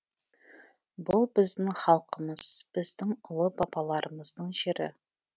бұл біздің халқымыз біздің ұлы бабаларымыздың жері